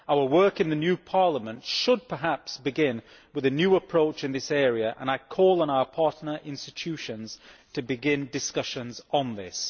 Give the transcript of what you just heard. Our work in the new Parliament should perhaps begin with a new approach in this area and I call on our partner institutions to begin discussions on this.